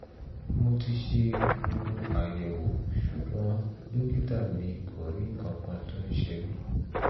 mo ti ṣe gbogbo àyẹ̀wò ṣùgbọ́n dókítà mi kò rí nǹkankan tó ṣe mí